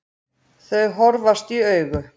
Þau horfast í augu.